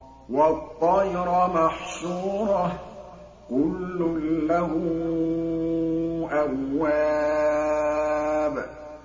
وَالطَّيْرَ مَحْشُورَةً ۖ كُلٌّ لَّهُ أَوَّابٌ